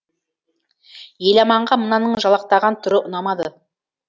еламанға мынаның жалақтаған түрі ұнамады